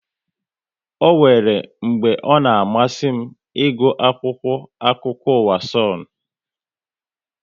Ọ nwéré mgbe ọ na amasị m ịgụ akwụkwọ akụkọ ụwa Sonu